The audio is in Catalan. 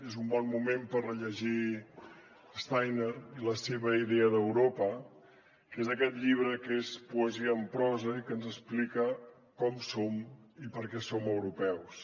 és un bon moment per rellegir steiner i la seva idea d’europa que és aquest llibre que és poesia en prosa i que ens explica com som i per què som europeus